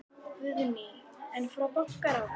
Guðný: En frá bankaráði?